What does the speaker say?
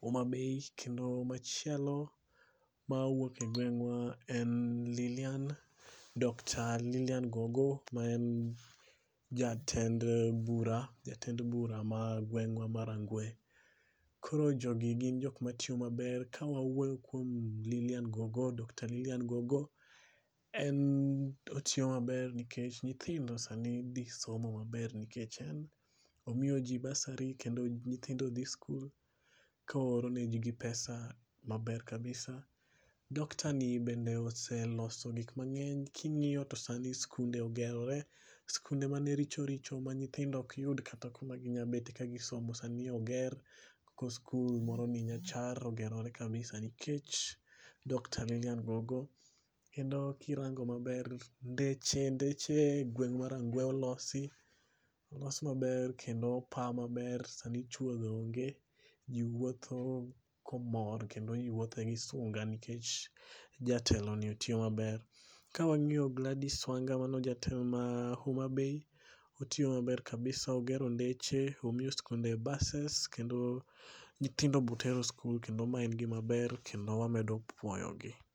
Homabay kendo machielo mawuok e gwengwa en Lilian Doctor Lilian Gogo manen jatend bura ma gwengwa ma Rangwe. Koro jogi gin jok matiyo maber, ka wawuoyo kuom lilian Gogo, Dr. Lilian Gogo en otiyo maber nikech nyithindo sani dhi somo maber nikech en omiyo jii basari kendo nyithindo dhi skul koore negi pesa maber kabisa. Dr. ni bende oseloso gik mangeny, kingiyo to sani skunde ogerore, skunde mane richo richo ma nyithindo ok yud kata kuma ginya bete ka gisomo sani oger, skul moro ni Nyachar sani oger kabisa nikech Dr.Lilian Gogo. Kendo kirango maber ndeche, ndeche e gweng ma Rangwe olosi, olos maber kendo opaa maber ,sani chuodho onge, jii wuotho komor kendo jii wuothe gi sunga nikech jatelo ni otiyo maber. Ka wangiyo Gladys Wanga mano jatelo ma Homabay, otiyo maber kabisa ogero ndeche, omiyo skunde bases kendo nyithindo be otero skul kendo ma en gima ber kendo wamedo puoyo gi